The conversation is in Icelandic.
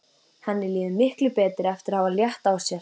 Henni líður miklu betur eftir að hafa létt á sér.